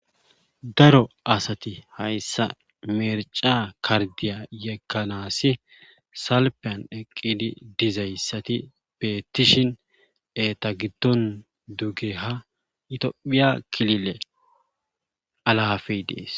daro asati hayssa merca kardiya yekanasi salpiyan eqqidi dizayssati beettishin eta giddon duge ha tophiya kilile alaafey dees